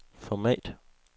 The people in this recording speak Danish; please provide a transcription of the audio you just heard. format